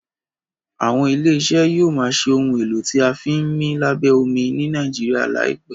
àwọn ilé iṣẹ yóò má ṣe Ohun èlò tí a fi ńmí lábẹ́ omi ní Nàìjíríà láìpé.